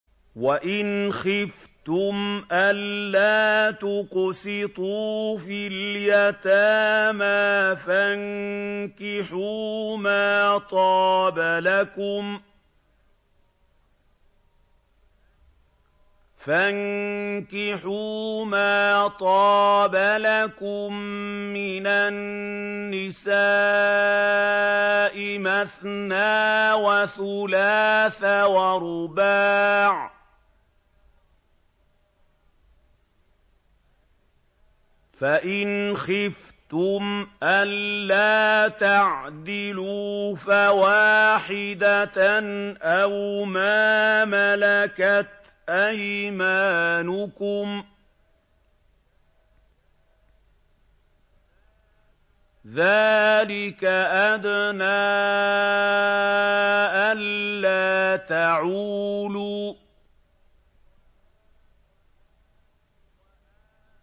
وَإِنْ خِفْتُمْ أَلَّا تُقْسِطُوا فِي الْيَتَامَىٰ فَانكِحُوا مَا طَابَ لَكُم مِّنَ النِّسَاءِ مَثْنَىٰ وَثُلَاثَ وَرُبَاعَ ۖ فَإِنْ خِفْتُمْ أَلَّا تَعْدِلُوا فَوَاحِدَةً أَوْ مَا مَلَكَتْ أَيْمَانُكُمْ ۚ ذَٰلِكَ أَدْنَىٰ أَلَّا تَعُولُوا